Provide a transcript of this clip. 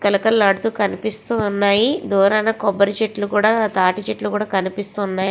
కలకలలు ఆడుతూ కనిపిస్తూ వున్నాయి దూరాన కోబరి చెట్లు తాటి చెట్లు కూడా కనిపిస్తూ వున్నాయ్.